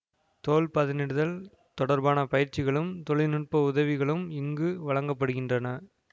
தோல் பதனிடுதல் தொடர்பான பயிற்சிகளும் தொழினுட்ப உதவிகளும் இங்கு வழங்க படுகின்றன